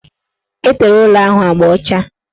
Etere ụlọ ahụ agba ọcha